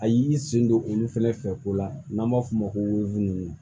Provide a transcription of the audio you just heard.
A y'i sen don olu fɛnɛ fɛ ko la n'an b'a f'o ma ko nunnu